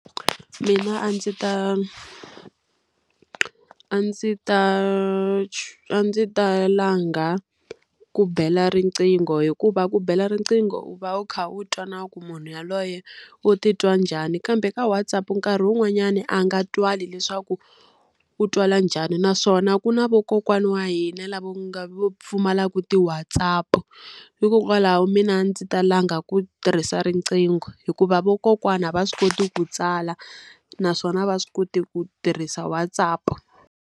Mina a ndzi ta a ndzi ta a ndzi ta langa ku bela riqingho hikuva ku bela riqingho u va u kha u twa na ku munhu yaloye u titwa njhani, kambe ka WhatsApp nkarhi wun'wanyani a nga twali leswaku u twala njhani. Naswona ku na vo kokwana wa hina lavo nga vo pfumalaka ti-WhatsApp. Hikokwalaho mina a ndzi ta langa ku tirhisa riqingho hikuva vakokwana va swi koti ku tsala, naswona va swi koti ku tirhisa WhatsApp.